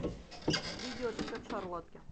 видео рецепт шарлотки